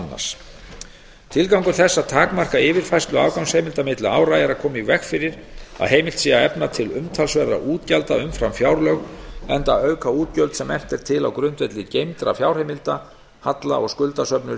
annars tilgangur þess að takmarka yfirfærslu afgangsheimilda milli ára er að koma í veg fyrir að heimilt sé að efna til umtalsverðra útgjalda umfram fjárlög enda auka útgjöld sem efnt er til á grundvelli geymdra fjárheimilda halla og skuldasöfnun